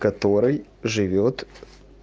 который живёт